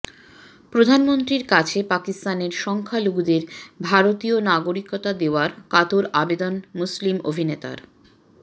প্রধানমন্ত্রীর কাছে পাকিস্তানের সংখ্যালঘুদের ভারতীয় নাগরিকতা দেওয়ার কাতর আবেদন মুসলিম অভিনেতার